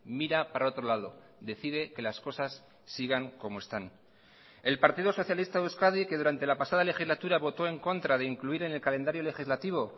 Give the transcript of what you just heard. mira para otro lado decide que las cosas sigan como están el partido socialista de euskadi que durante la pasada legislatura votó en contra de incluir en el calendario legislativo